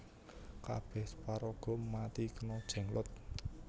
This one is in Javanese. Kabeh paraga mati kena Jenglot